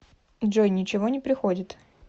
джой ничего не приходит